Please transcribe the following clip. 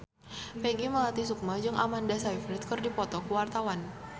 Peggy Melati Sukma jeung Amanda Sayfried keur dipoto ku wartawan